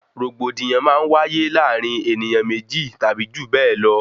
Rògbòdìyàn máa ń wáyé láàrin ènìyàn méjì tàbí jù bẹẹ lọ